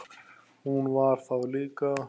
Hún var það líka.